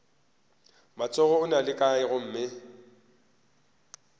matsogo ona a kae gomme